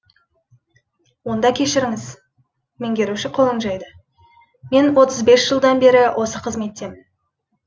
онда кешіріңіз меңгеруші қолын жайды мен отыз бес жылдан бері осы қызметтемін